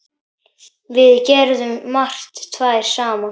Við gerðum margt tvær saman.